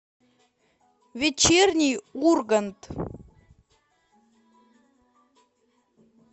вечерний ургант